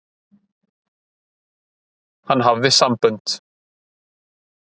Hann hafði sambönd.